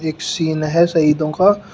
एक सीन है शहीदों का।